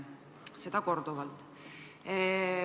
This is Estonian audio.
Ütlesite seda korduvalt.